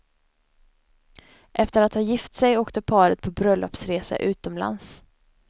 Efter att ha gift sig åkte paret på bröllopsresa utomlands.